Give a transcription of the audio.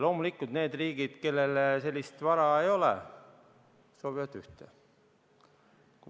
Loomulikult need riigid, kellel sellist vara ei ole, soovivad ühte.